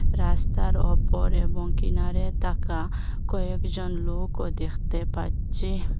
রাস্তার ওপর এবং কিনারে তাকা কয়েকজন লোকও দেখতে পাচ্ছি।